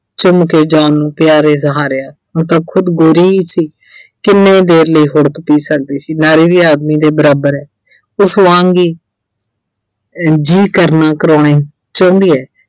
ਚੁੰਮ ਕੇ John ਨੂੰ ਖੁਦ ਹੀ ਗੋਰੀ ਸੀ ਕਿੰਨੇ ਦੇਰ ਲਈ ਹੁੜਕ ਪੀ ਸਕਦੀ ਸੀ ਨਾਰੀ ਵੀ ਆਦਮੀ ਦੇ ਬਰਾਬਰ ਐ ਉਸ ਵਾਂਗ ਹੀ ਅਹ ਜੀਅ ਕਰਨਾ ਚਾਹੁੰਦੀ ਐ